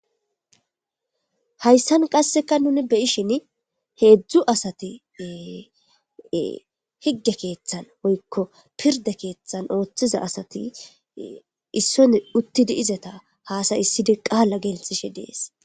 Hayisan qaseka nu be'ishin hezu asati betes hige kethan woyiko piride kethan othiza asati isson utizasata hasa'isidi qala gelisishe de'es